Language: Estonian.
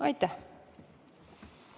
Aitäh!